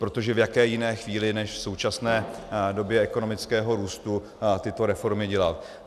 Protože v jaké jiné chvíli než v současné době ekonomického růstu tyto reformy dělat?